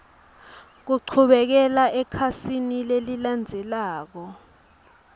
kuchubekela ekhasini lelilandzelako